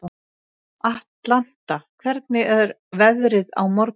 Atlanta, hvernig er veðrið á morgun?